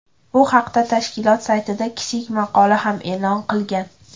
Bu haqda tashkilot saytida kichik maqola ham e’lon qilgan .